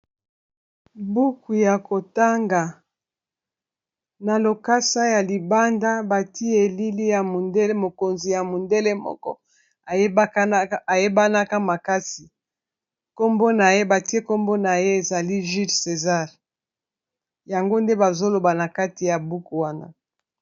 buku ya kotanga na lokasa ya libanda bati elili ya mondele mokonzi ya mondele moko ayebanaka makasi nkombo na ye batie nkombo na ye ezali jules césar yango nde bazoloba na kati ya buku wana